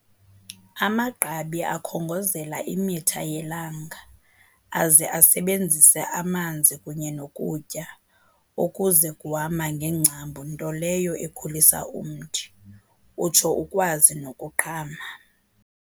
Amagqabi akhongozela imitha yelanga aze asebenzise amanzi kunye nokutya okuze kuhamba ngeengcambu nto leyo ekhulisa umthi, utsho ukwazi nokuqhama.